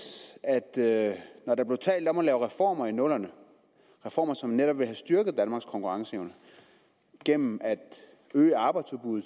at når der blev talt om at lave reformer i nullerne reformer som netop ville have styrket danmarks konkurrenceevne gennem at øge arbejdsudbuddet